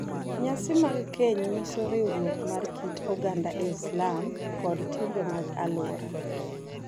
Nyasi mag keny nyiso riwruok mar kit oganda Islam kod timbe mag alwora.